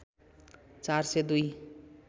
४ सय २